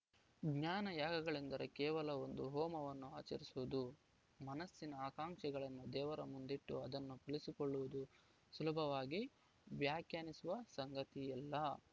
ಜ್ಞಾನ ಯಾಗಗಳೆಂದರೆ ಕೇವಲ ಒಂದು ಹೋಮವನ್ನು ಆಚರಿಸುವುದು ಮನಸ್ಸಿನ ಆಕಾಂಕ್ಷೆಗಳನ್ನು ದೇವರ ಮುಂದಿಟ್ಟು ಅದನ್ನು ಫಲಿಸಿಕೊಳ್ಳುವುದು ಸುಲಭವಾಗಿ ವ್ಯಾಖ್ಯಾನಿಸುವ ಸಂಗತಿಯಲ್ಲ